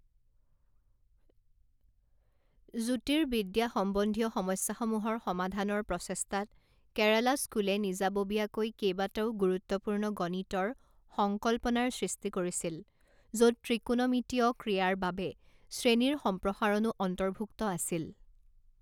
জ্যোতিৰ্বিদ্যা সম্বন্ধীয় সমস্যাসমূহৰ সমাধানৰ প্ৰচেষ্টাত, কেৰালা স্কুলে নিজাববীয়াকৈ কেইবাটাও গুৰুত্বপূৰ্ণ গণিতৰ সংকল্পনাৰ সৃষ্টি কৰিছিল, য'ত ত্ৰিকোণমিতীয় ক্ৰিয়াৰ বাবে শ্ৰেণীৰ সম্প্ৰসাৰণো অন্তৰ্ভুক্ত আছিল।